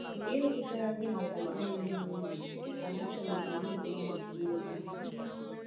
Ya ewutela gị màkà agwaghị m gị n'oge, mana a chọrọ m ka mụ na mmadụ kwụọ ókwú.